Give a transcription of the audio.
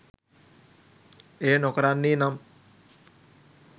එය නොකරන්නේ නම්